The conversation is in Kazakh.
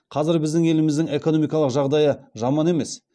қазір біздің еліміздің экономикалық жағдайы жаман емес